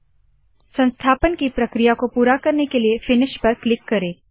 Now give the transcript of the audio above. संस्थापन की प्रक्रिया को पूरा करने के लिए फिनिश पर क्लिक करे